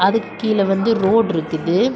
இதுக்கு கீழ வந்து ரோடு இருக்குது.